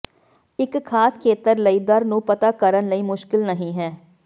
ਇੱਕ ਖਾਸ ਖੇਤਰ ਲਈ ਦਰ ਨੂੰ ਪਤਾ ਕਰਨ ਲਈ ਮੁਸ਼ਕਲ ਨਹੀ ਹੈ